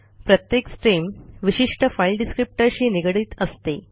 प्रत्येक स्ट्रीम विशिष्ठ फाइल descriptorशी निगडीत असते